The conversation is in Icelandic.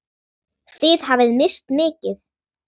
Þið hafið misst mikið.